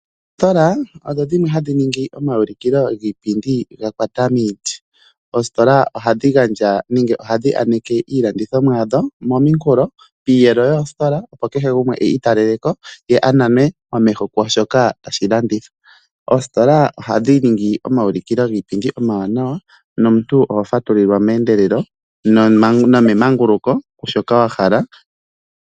Oostola odho dhimwe hadhi ningi omaulikilo giipindi gakwata miiti. Oostola oha dhi gandja nenge oha dhi yaneke iilandithomwa yadho mominkulo, piiyelo yoostola opo kehe gumwe iitalele ko ye a nanwe momeho kwaashoka tashi landithwa. Oostola oha dhiningi omaulikilo giipindi omawanawa nomuntu oho fatulilwa meendelelo nomemanguluko shoka wa hala.